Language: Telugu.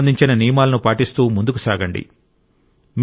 కరోనాకు సంబంధించిన నియమాలను పాటిస్తూ ముందుకు సాగండి